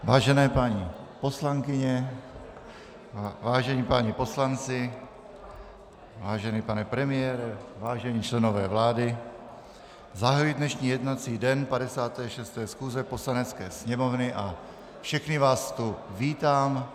Vážené paní poslankyně, vážení páni poslanci, vážený pane premiére, vážení členové vlády, zahajuji dnešní jednací den 56. schůze Poslanecké sněmovny a všechny vás tu vítám.